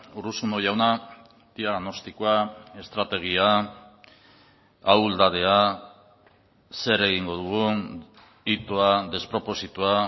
urruzuno jauna diagnostikoa estrategia ahuldadea zer egingo dugun itoa despropositoa